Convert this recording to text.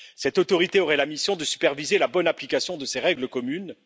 Cette autorité aurait la mission de superviser la bonne application de ces règles communes.